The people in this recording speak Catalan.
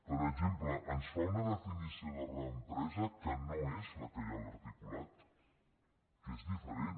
per exemple ens fa una definició de reempresa que no és la que hi ha a l’articulat que és diferent